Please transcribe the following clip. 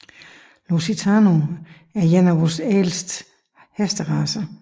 Lusitano er en af verdens ældste hesteracer